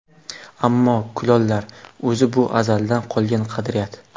Ammo kulollar... O‘zi bu azaldan qolgan qadriyat.